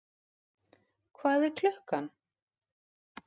Hvað er klukkan?